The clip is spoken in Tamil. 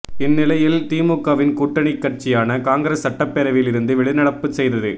இந்த நிலையில் திமுகவின் கூட்டணிக் கட்சியான காங்கிரஸ் சட்டப்பேரவையில் இருந்து வெளிநடப்பு செய்தது